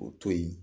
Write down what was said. O to yen